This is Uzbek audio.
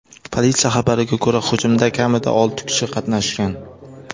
Politsiya xabariga ko‘ra, hujumda kamida olti kishi qatnashgan.